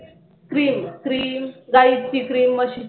cream cream गाईची cream म्हशीची